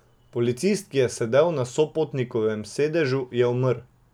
Policist, ki je sedel na sopotnikovem sedežu, je umrl.